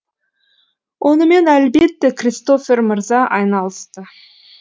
онымен әлбетте кристофер мырза айналысты